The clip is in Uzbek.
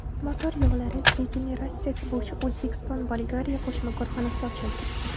Motor yog‘lari regeneratsiyasi bo‘yicha O‘zbekiston-Bolgariya qo‘shma korxonasi ochildi.